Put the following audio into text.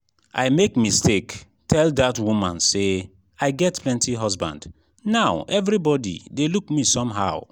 i make mistake tell dat woman say i get plenty husband now everybody dey look me somehow